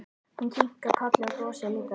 Hún kinkar kolli og brosir líka.